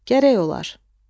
Gərək olar.